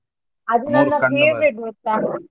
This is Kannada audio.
ಅದು ಗೊತ್ತ.